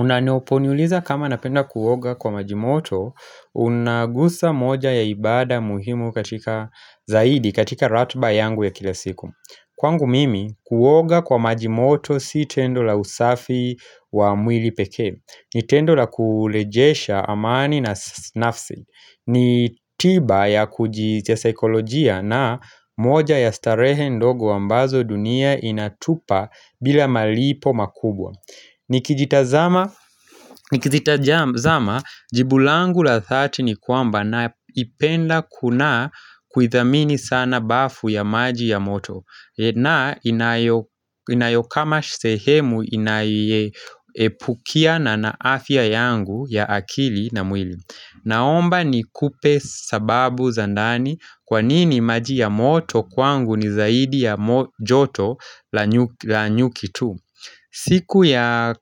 Unanoponiuliza kama napenda kuoga kwa maji moto, unagusa moja ya ibada muhimu katika zaidi katika ratiba yangu ya kila siku Kwangu mimi, kuoga kwa majimoto si tendo la usafi wa mwili pekee ni tendo la kurejesha amani na nafsi ni tiba ya kujisia saikolojia na moja ya starehe ndogo ambazo dunia inatupa bila malipo makubwa Nikijitazama jibu langu la 30 kwamba na ipenda kuna kuithamini sana bafu ya maji ya moto na inayo inayokama sehemu inayeepukia na afya yangu ya akili na mwili Naomba ni kupe sababu za ndani kwanini maji ya moto kwangu ni zaidi ya joto la nyuki tu siku ya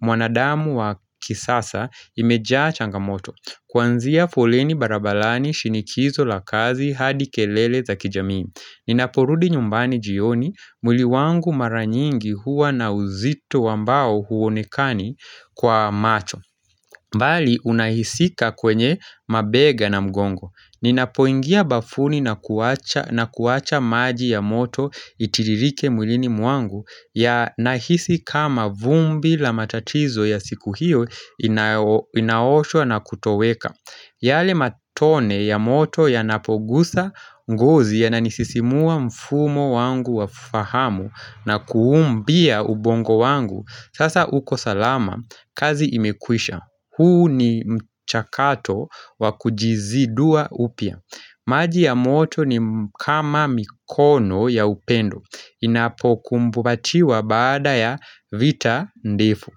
mwanadamu wa kisasa imejaa changamoto Kwanzia foleni barabarani shinikizo la kazi hadi kelele za kijamii Ninaporudi nyumbani jioni mwili wangu mara nyingi huwa na uzito wambao huonekani kwa macho bali unahisika kwenye mabega na mgongo Ninapoingia bafuni na kuwacha maji ya moto itiririke mwilini mwangu ya nahisi kama vumbi la matatizo ya siku hiyo inaosho na kutoweka yale matone ya moto ya napogusa ngozi ya nanisisimua mfumo wangu wa fahamu na kuumbia ubongo wangu Sasa uko salama kazi imekwisha huu ni mchakato wa kujizidua upya maji ya moto ni kama mikono ya upendo inapo kumbubatiwa baada ya vita ndefu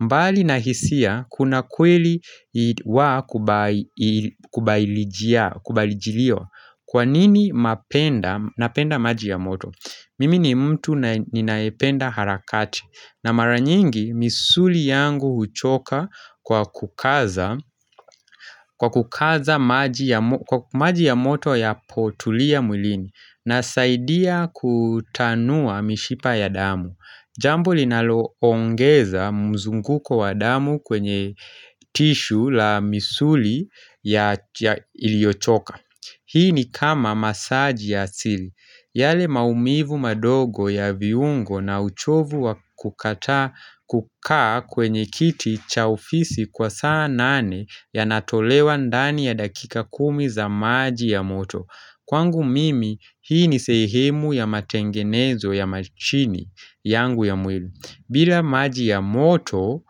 mbali na hisia kuna kweli wa kubailijia kubailijilio Kwa nini mapenda napenda maji ya moto Mimi ni mtu nae ninayependa harakati na mara nyingi misuli yangu huchoka kwa kukaza maji ya moto ya potulia mwilini Nasaidia kutanua mishipa ya damu Jambo linaloongeza mzunguko wa damu kwenye tishu la misuli ya iliochoka Hii ni kama masaji ya asili yale maumivu madogo ya viungo na uchovu wa kukataa kukaa kwenye kiti cha ofisi kwa saa nane Yanatolewa ndani ya dakika kumi za maji ya moto Kwangu mimi hii ni sehemu ya matengenezo ya machini yangu ya mwili. Bila maji ya moto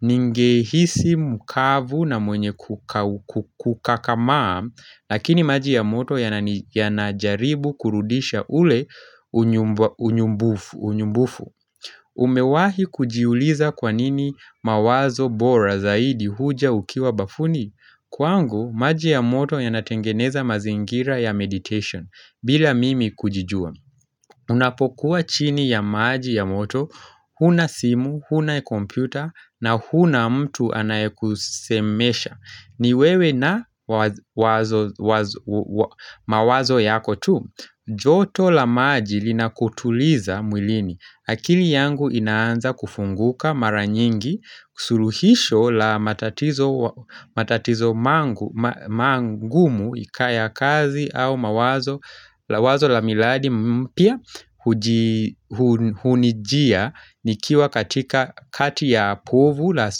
ningehisi mkavu na mwenye kukau kakamaa, lakini maji ya moto yanani yanajaribu kurudisha ule unyu unyumbufu. Umewahi kujiuliza kwanini mawazo bora zaidi huja ukiwa bafuni Kwangu maji ya moto yanatengeneza mazingira ya meditation bila mimi kujijua Unapokuwa chini ya maji ya moto huna simu, huna kompyuta na huna mtu anayekusemesha ni wewe na mawazo yako tu joto la maji linakutuliza mwilini akili yangu inaanza kufunguka mara nyingi suluhisho la matatizo mangu ma mangumu ikaya ya kazi au mawazo wazo la miladi mpya hujii hunijia nikiwa katika kati ya povu la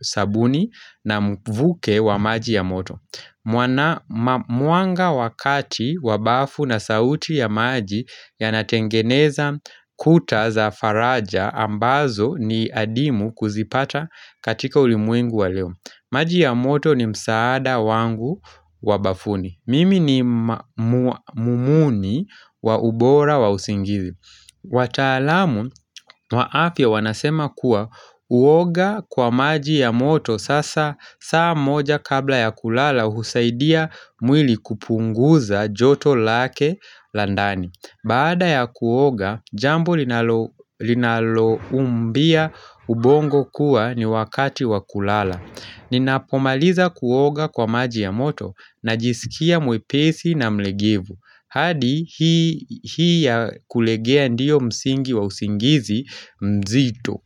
sabuni na mvuke wa maji ya moto. Mwanga wa kati wa bafu na sauti ya maji yanatengeneza kuta za faraja ambazo ni adimu kuzipata katika ulimwengu wa leo maji ya moto ni msaada wangu wabafuni Mimi ni mumuni wa ubora wa usingizi wataalamu wa afya wanasema kuwa uoga kwa maji ya moto sasa saa moja kabla ya kulala husaidia mwili kupunguza joto lake la ndani Baada ya kuoga jambo linalo linaloumbia ubongo kuwa ni wakati wa kulala Ninapomaliza kuoga kwa maji ya moto najisikia mwepesi na mlegevu hadi hii ya kulegea ndiyo msingi wa usingizi mzito.